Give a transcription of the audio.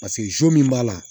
Paseke min b'a la